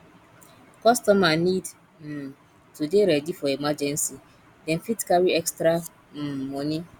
customer need um to dey ready for emergency dem fit carry extra um money